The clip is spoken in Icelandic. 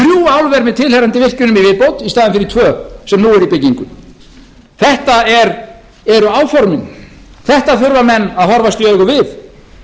álver með tilheyrandi virkjunum í viðbót í staðinn fyrir tvö sem nú eru í byggingu þetta eru áformin þetta þurfa menn að horfast í augu við